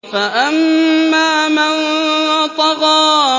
فَأَمَّا مَن طَغَىٰ